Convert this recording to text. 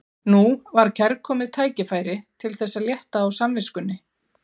Nú var kærkomið tækifæri til þess að létta á samviskunni.